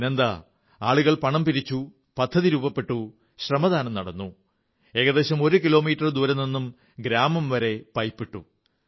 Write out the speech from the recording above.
പിന്നെന്തു സംഭവിച്ചു ആളുകൾ പണം പങ്കിട്ടെടുത്തു പദ്ധതി രൂപപ്പെട്ടു ശ്രമദാനം നടന്നു ഏകദേശം ഒരു കിലോമീറ്റർ ദൂരെ നിന്നും ഗ്രാമം വരെ പൈപ്പിട്ടു